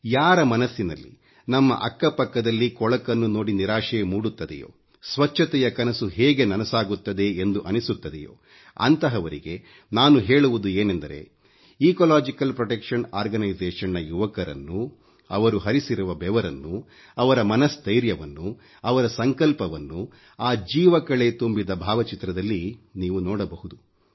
ಯಾರ ಮನಸ್ಸಿನಲ್ಲಿ ನಮ್ಮ ಅಕ್ಕ ಪಕ್ಕದಲ್ಲಿ ಕೊಳಕನ್ನು ನೋಡಿ ನಿರಾಶೆ ಮೂಡುತ್ತದೆಯೋ ಸ್ವಚ್ಚತೆಯ ಕನಸು ಹೇಗೆ ನನಸಾಗುತ್ತದೆ ಎಂದು ಅನ್ನಿಸುತ್ತದೆಯೋ ಅಂತಹವರಿಗೆ ನಾನು ಹೇಳುವುದು ಏನೆಂದರೆ ಇಕೋಲೋಜಿಕಲ್ ಪ್ರೊಟೆಕ್ಷನ್ ಓರ್ಗನೈಸೇಷನ್ ನ ಯುವಕರನ್ನೂ ಅವರು ಹರಿಸಿರುವ ಬೆವರನ್ನೂ ಅವರ ಮನಸ್ಥೈರ್ಯವನ್ನೂ ಅವರ ಸಂಕಲ್ಪವನ್ನೂ ಆ ಜೀವಕಳೆ ತುಂಬಿದ ಭಾವಚಿತ್ರದಲ್ಲಿ ನೀವು ನೋಡಬಹುದು